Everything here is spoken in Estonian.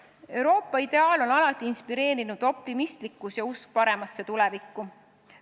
Euroopa ideaali on alati inspireerinud optimistlikkus ja usk paremasse tulevikku.